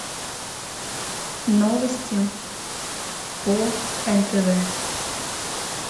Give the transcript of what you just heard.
новости по нтв